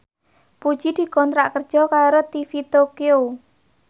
Puji dikontrak kerja karo TV Tokyo